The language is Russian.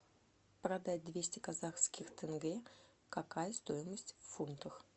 продать двести казахских тенге какая стоимость в фунтах